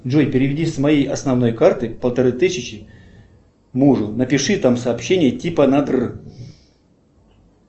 джой переведи с моей основной карты полторы тысячи мужу напиши там сообщение типа на др